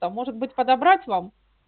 а может быть подобрать вам